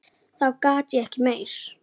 Þá gat ég ekki meir.